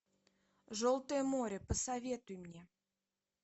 желтое море посоветуй мне